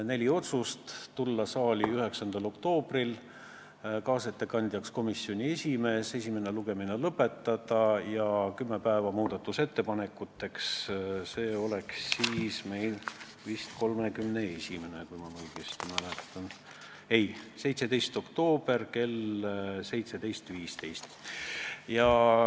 Neli otsust: tulla saali 9. oktoobriks, kaasettekandjaks komisjoni esimees, esimene lugemine lõpetada ja kümme päeva muudatusettepanekuteks, tähtpäev on 17. oktoober kell 17.15.